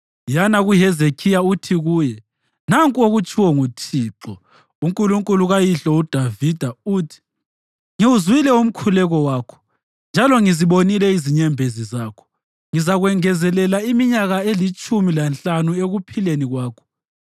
“Yana kuHezekhiya uthi kuye, ‘Nanku okutshiwo nguThixo, uNkulunkulu kayihlo uDavida, uthi: Ngiwuzwile umkhuleko wakho, njalo ngizibonile lezinyembezi zakho. Ngizakwengezelela iminyaka elitshumi lanhlanu ekuphileni kwakho.